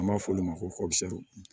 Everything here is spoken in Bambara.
An b'a f'olu ma ko